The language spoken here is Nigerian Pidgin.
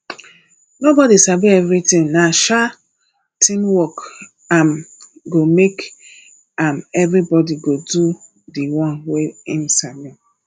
nobodi sabi everytin na um teamwork um go make um everybodi do di one wey im sabi